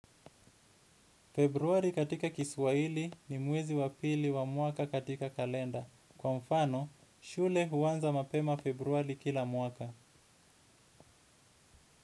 Februari katika kiswaili ni mwezi wa pili wa mwaka katika kalenda. Kwa mfano, shule huanza mapema februari kila mwaka.